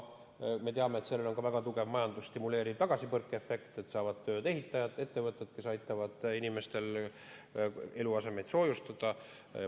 Me teame, et sellel on ka väga tugev majandust stimuleeriv tagasipõrkeefekt, kui saavad tööd ehitajad, ettevõtted, kes aitavad inimestel eluasemeid soojustada.